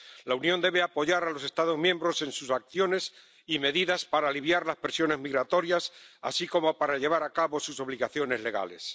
La Unión debe apoyar a los Estados miembros en sus acciones y medidas para aliviar las presiones migratorias, así como para llevar a cabo sus obligaciones legales.